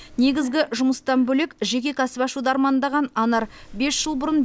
негізгі жұмыстан бөлек жеке кәсіп ашуды армандаған анар бес жыл бұрын